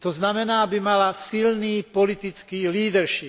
To znamená aby mala silný politický leadership.